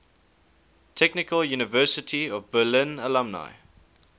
technical university of berlin alumni